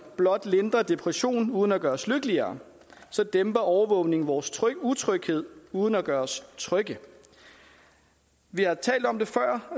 blot lindrer depressionen uden at gøre os lykkeligere dæmper overvågningen vores utryghed uden at gøre os trygge vi har